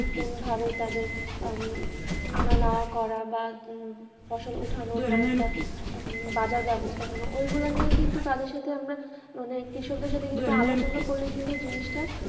কোনভাবে তাদের উম আনা নেওয়া করা বা ফসল উঠানোর পর একটা উম বাজার ব্যবস্থাপনা ওইগুলা নিয়ে কিন্তু তাদের সাথে আমরা মানে কৃষকদের সাথে কিন্তু আলোচনা করলে কিন্তু জিনিসটা